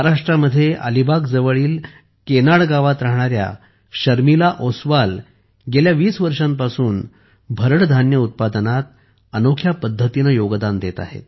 महाराष्ट्रात अलिबागजवळील केनाड गावात राहणाऱ्या शर्मिला ओसवाल गेल्या वीस वर्षांपासून भरड धान्य उत्पादनात अनोख्या पद्धतीने योगदान देत आहेत